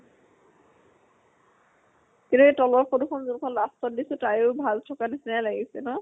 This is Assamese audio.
কিন্তু এই তলৰ photo খন যোন খন last ত দিছো তায়ো ভাল চুকা নিছিনাই লাগিছে ন?